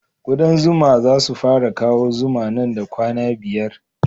Kuɗan zuma za su fara kawo zuma nan da kwana biyar